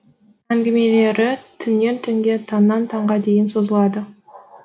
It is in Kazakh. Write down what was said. әңгімелері түннен түнге таңнан таңға дейін созылады